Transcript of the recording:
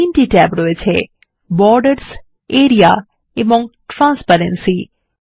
এখানে 3টি ট্যাব আছে Borders আরিয়া এবংTransparency